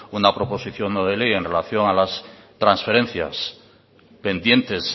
una proposición no de ley en relación a las transferencias pendientes